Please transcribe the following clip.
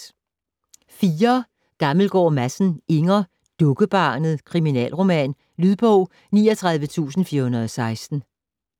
Gammelgaard Madsen, Inger: Dukkebarnet: kriminalroman Lydbog 39416